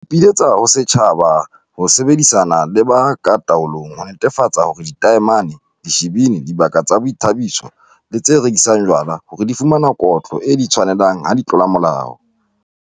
Re ipiletsa ho setjhaba ho sebedisana le ba ka taolong ho netefatsa hore ditamene, dishibini, dibaka tsa boithabiso le tse rekisang jwala hore di fumana kotlo e di tshwanelang ha di tlola molao.